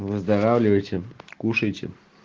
выздоравливайте кушайте